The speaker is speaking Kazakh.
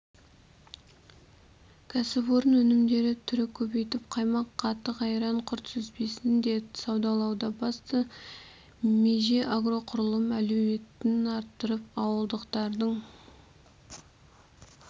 кәсіпорын өнімдер түрін көбейтіп қаймақ қатық-айран құрт-сүзбесін де саудалауда басты меже агроқұрылым әлеуетін арттырып ауылдықтардың